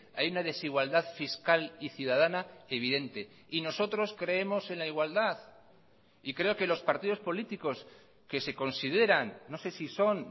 hay una desigualdad fiscal y ciudadana evidente y nosotros creemos en la igualdad y creo que los partidos políticos que se consideran no sé si son